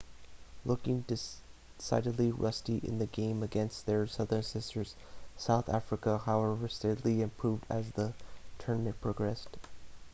looking decidedly rusty in the game against their southern sisters south africa however steadily improved as the tournament progressed